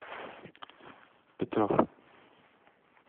петров